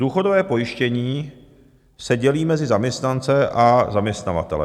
Důchodové pojištění se dělí mezi zaměstnance a zaměstnavatele.